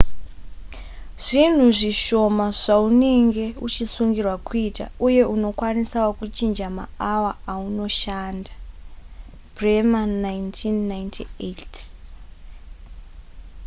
zvinhu zvishoma zvaunenge uchisungirwa kuita uye unokwanisawo kuchinja maawa aunoshanda. bremer 1998